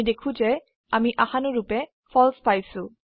আমি দেখো যে আমি আশানুৰুপে ফালছে পাইয়েছো